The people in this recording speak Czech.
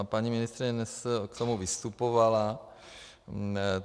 A paní ministryně dnes k tomu vystupovala.